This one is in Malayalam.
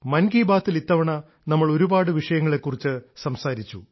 മൻ കീ ബാത്തിൽ ഇത്തവണ നമ്മൾ ഒരുപാട് വിഷയങ്ങളെക്കുറിച്ച് സംസാരിച്ചു